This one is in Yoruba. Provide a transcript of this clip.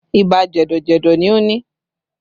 Ibà jẹ̀dọ̀ jẹ̀dọ̀ ni o ni